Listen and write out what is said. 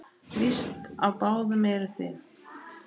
Víst á báðum eruð þið.